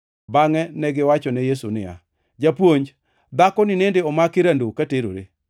bangʼe negiwachone Yesu niya, “Japuonj, dhakoni nende omaki rando ka terore.